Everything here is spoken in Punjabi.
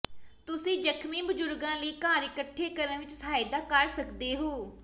ਤੁਸੀਂ ਜ਼ਖਮੀ ਬਜ਼ੁਰਗਾਂ ਲਈ ਘਰ ਇਕੱਠੇ ਕਰਨ ਵਿੱਚ ਸਹਾਇਤਾ ਕਰ ਸਕਦੇ ਹੋ